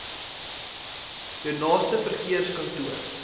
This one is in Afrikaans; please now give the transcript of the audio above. jou naaste verkeerskantoor